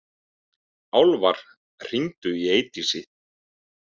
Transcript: Álfar, hringdu í Eydísi.